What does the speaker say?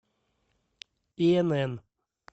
инн